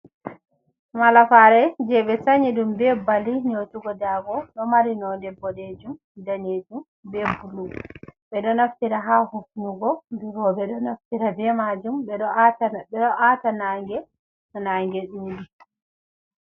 Malafare je be sayi dum be bali neutugo, dago domarino nonde bodejum be danejum be bulu bedo naftira ha hufnugo biro be o naftira be majum bedo aata nange to naange dudi.